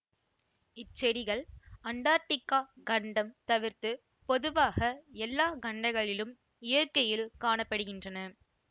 இச்செடிகள் Antarctica கண்டம் தவிர்த்து பொதுவாக எல்லா கண்டங்களிலும் இயற்கையில் காண படுகின்றன